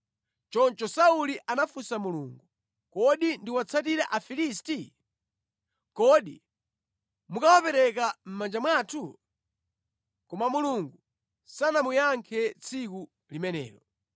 Choncho Sauli anafunsa Mulungu kuti, “Kodi ndiwatsatire Afilisti? Kodi mukawapereka mʼmanja mwathu?” Koma Mulungu sanamuyankhe tsiku limenelo.